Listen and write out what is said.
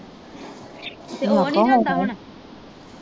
ਤੇ ਉਹ ਨੀ ਜਾਂਦਾ ਹੁਣ